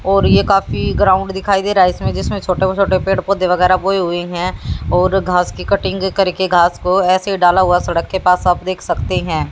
और ये काफी ग्राउंड दिखाई दे रहा है इसमे जिसमे छोटे छोटे पेड़ पोधै वगैरा बोए हुए है और घास की कटिंग करके घास को एसे डाला हुआ है सड़क के पास आप देख सकते है।